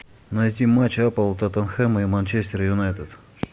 найти матч апл тоттенхэма и манчестер юнайтед